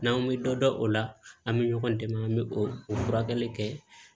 N'an bɛ dɔ dɔn o la an bɛ ɲɔgɔn dɛmɛ an bɛ o furakɛli kɛ